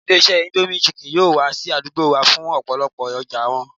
Ilé-iṣẹ́ indomie chicken yóò wá sí àdúgbò wa fún ìpolówó ọjà wọn